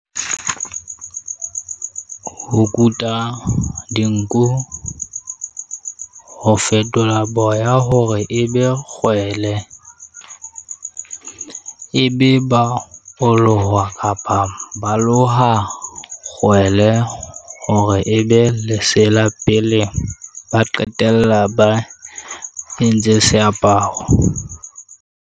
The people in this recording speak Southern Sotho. Ho kuta dinku, ho fetola boya hore ebe kgwele e be ba ho loha kapa ba loha kgwele, hore ebe lesela pele ba qetella ba entse seaparo?